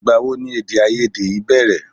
Ìgbàwo ni èdèàìyedè yìí bẹ̀rẹ̀?